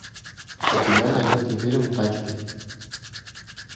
у тебя найдется фильм тачки